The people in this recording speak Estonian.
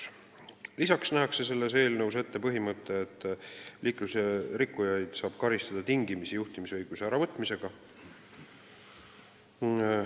Eelnõus nähakse ette põhimõte, et liiklusrikkujaid saab karistada juhtimisõiguse tingimisi äravõtmisega.